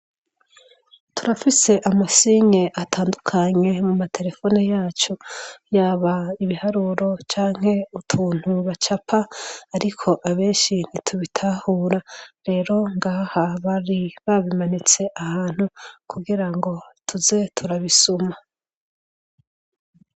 turafise amasinye atandukanye mu materefone yacu yaba ibiharuro canke utuntu bacapa ariko abenshi ntitubitahura rero ngaha bari babimanitse ahantu kugira ngo tuze turabisuma